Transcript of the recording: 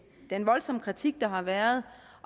den voldsomme kritik der har været